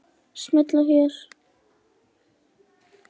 Smella hér